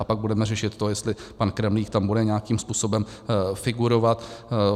A pak budeme řešit to, jestli pan Kremlík tam bude nějakým způsobem figurovat.